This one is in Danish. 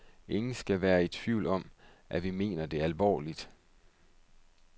Ingen skal være i tvivl om, at vi mener det alvorligt.